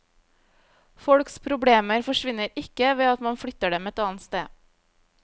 Folks problemer forsvinner ikke ved at man flytter dem et annet sted.